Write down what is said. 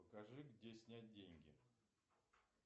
покажи где снять деньги